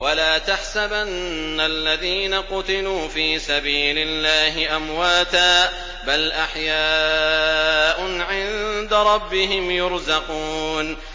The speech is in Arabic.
وَلَا تَحْسَبَنَّ الَّذِينَ قُتِلُوا فِي سَبِيلِ اللَّهِ أَمْوَاتًا ۚ بَلْ أَحْيَاءٌ عِندَ رَبِّهِمْ يُرْزَقُونَ